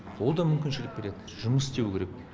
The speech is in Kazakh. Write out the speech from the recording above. ол да мүмкіншілік береді жұмыс істеу керек